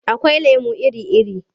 Akwai lemo iri-iri.